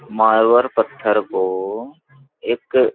मारवार पत्थर को एक --